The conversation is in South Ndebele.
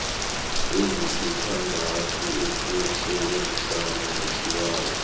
ezisithandathu ukusebenzana nesibawo